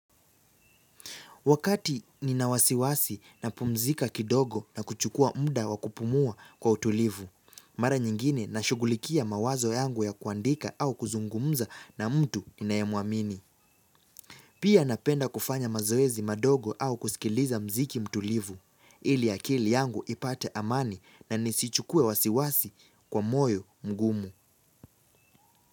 Wakati nina wasiwasi napumzika kidogo na kuchukua muda wa kupumua kwa utulivu, mara nyingine nashugulikia mawazo yangu ya kuandika au kuzungumza na mtu ninayemwamini. Pia napenda kufanya mazoezi madogo au kusikiliza muziki mtulivu, ili akili yangu ipate amani na nisichukue wasiwasi kwa moyo mgumu.